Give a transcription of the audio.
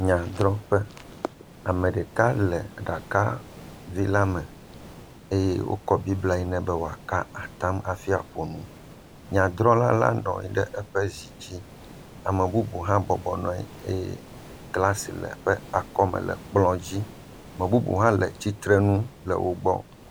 Nyadrɔƒe, ame ɖeka le aɖakavi la me eye wokɔ bibla yi nɛ be wòaka atam hafi aƒo nu. Nyadrɔla la bɔbɔ nɔ anyi ɖe eƒe zi dzi, ame bubu hã bɔbɔ nɔ anyi eye glas le eƒe akɔme le ekplɔ dzi. Ame bubu hã le tsitrenu le wo gbɔ.